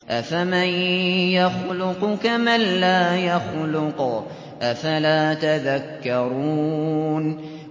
أَفَمَن يَخْلُقُ كَمَن لَّا يَخْلُقُ ۗ أَفَلَا تَذَكَّرُونَ